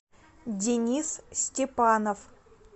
денис степанов